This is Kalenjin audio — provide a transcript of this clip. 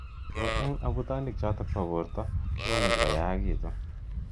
Ako eng abutanic cho tok ba borto komuchi koyakitu.